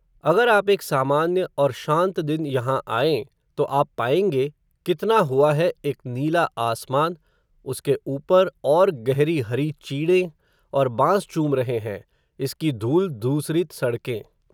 अगर आप एक सामान्य, और शांत दिन यहाँ आएँ, तो आप पाएँगे, कितना हुआ है, एक नीला आसमान, इसके ऊपर, और गहरी हरी चीड़ें, और बाँस चूम रहे हैं, इसकी धूल धूसरित सड़कें